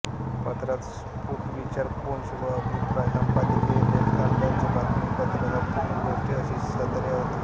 पत्रात स्फुटविचार पोंच व अभिप्राय संपादकीय लेख लंडनचे बातमीपत्र संपूर्ण गोष्टी अशी सदरे होती